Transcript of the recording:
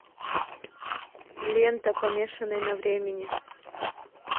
лента помешанный на времени